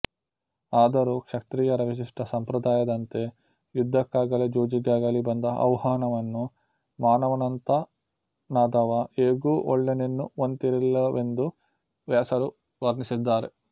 ಆದರೂ ಕ್ಷತ್ರಿಯರ ವಿಶಿಷ್ಟ ಸಂಪ್ರದಾಯದಂತೆ ಯುದ್ಧಕ್ಕಾಗಲಿ ಜೂಜಿಗಾಗಲಿ ಬಂದ ಆಹ್ವಾನವನ್ನು ಮಾನವಂತನಾದವ ಹೇಗೂ ಒಲ್ಲೆನೆನ್ನುವಂತಿರಲಿಲ್ಲವೆಂದು ವ್ಯಾಸರು ವರ್ಣಿಸಿದ್ದಾರೆ